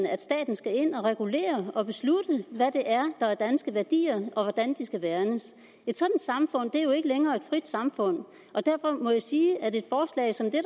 at staten skal ind og regulere og beslutte hvad det er der er danske værdier og hvordan de skal værnes et sådant samfund er jo ikke længere et frit samfund og derfor må jeg sige at et forslag som det